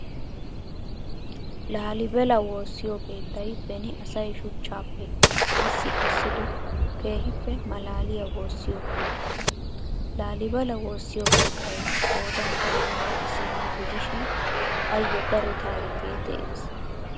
Laalibela woossiyo keettay beni asay shuchchaappe massi kessido keehippe malaaliyaa woossiyo keettay. Laalibela woossiyo keettay qoodan tammanne isiino gidishin ayyo daro taarikee de'ees.